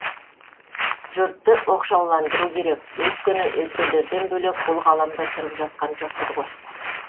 жұртты оқшауландыру керек өйткені өзгелерден бөлек бұл ғаламда тұрып жатқан жоқпыз ғой